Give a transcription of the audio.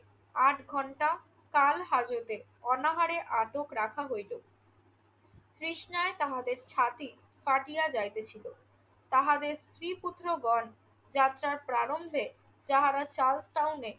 আট ঘণ্টা কাল হাজতে, অনাহারে আটক রাখা হইল। তৃষ্ণায় আমাদের ছাতি ফাঁটিয়া যাইতেছিল। তাহাদের স্ত্রী-পুত্রগণ যাত্রার প্রারম্ভে যাহারা সাউথ টাউনে